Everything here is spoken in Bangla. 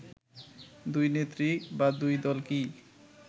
দুই নেত্রী বা দুই দল কি